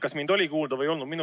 Kas mind oli kuulda või ei olnud?